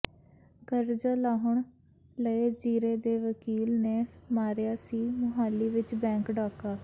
ਕਰਜ਼ਾ ਲਾਹੁਣ ਲਈ ਜ਼ੀਰੇ ਦੇ ਵਕੀਲ ਨੇ ਮਾਰਿਆ ਸੀ ਮੁਹਾਲੀ ਵਿੱਚ ਬੈਂਕ ਡਾਕਾ